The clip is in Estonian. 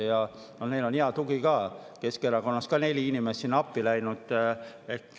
Ja neil on hea tugi ka, Keskerakonnast on neli inimest sinna appi läinud.